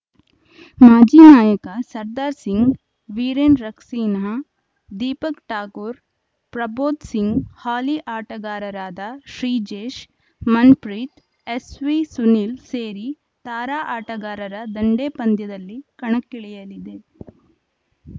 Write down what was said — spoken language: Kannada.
ಮಾಜಿ ನಾಯಕ ಸರ್ದಾರ್‌ ಸಿಂಗ್‌ ವೀರೆನ್‌ ರಸ್ಕಿನ್ಹಾ ದೀಪಕ್‌ ಠಾಕೂರ್‌ ಪ್ರಭ್ಜೋತ್‌ ಸಿಂಗ್‌ ಹಾಲಿ ಆಟಗಾರರಾದ ಶ್ರೀಜೇಶ್‌ ಮನ್‌ಪ್ರೀತ್‌ ಎಸ್‌ವಿಸುನಿಲ್‌ ಸೇರಿ ತಾರಾ ಆಟಗಾರರ ದಂಡೇ ಪಂದ್ಯದಲ್ಲಿ ಕಣಕ್ಕಿಳಿಯಲಿದೆ